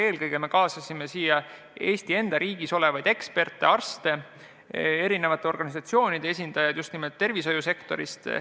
Eelkõige me kaasasime meie enda Eesti riigis olevaid eksperte, arste, erinevate organisatsioonide esindajaid, just nimelt tervishoiusektorist.